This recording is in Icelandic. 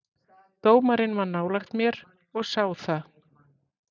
Dómarinn var nálægt mér og sá það.